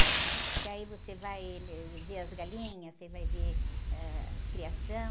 Porque aí você vai ver as galinhas, você vai ver, ãh, as criações.